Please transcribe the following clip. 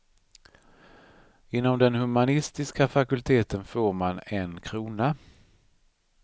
Inom den humanistiska fakulteten får man en krona.